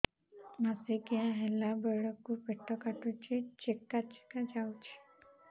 ମାସିକିଆ ହେଲା ବେଳକୁ ପେଟ କାଟୁଚି ଚେକା ଚେକା ଯାଉଚି